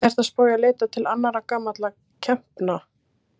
Ertu að spá í að leita til annarra gamalla kempna?